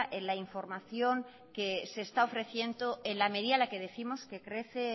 en la información que se está ofreciendo en la medida en la que décimos